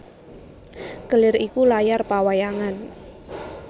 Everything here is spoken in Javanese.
Kelir iku layar pawayangan